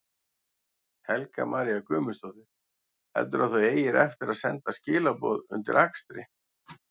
Helga María Guðmundsdóttir: Heldurðu að þú eigir eftir að senda skilaboð undir akstri?